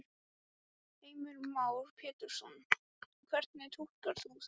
Heimir Már Pétursson: Hvernig túlkar þú það?